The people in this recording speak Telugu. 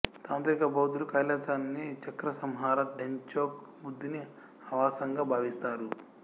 తాంత్రిక బౌద్ధులు కైలాసాన్ని చక్రసంవర డెంచోక్ బుద్ధుని ఆవాసంగా భావిస్తారు